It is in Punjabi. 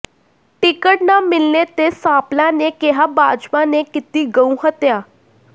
ਟਿਕਟ ਨਾ ਮਿਲਣੇ ਤੇ ਸਾਂਪਲਾ ਨੇ ਕਿਹਾ ਭਾਜਪਾ ਨੇ ਕੀਤੀ ਗਊ ਹੱਤਿਆ